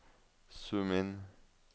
zoom inn